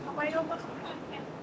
O Laçında doğulub.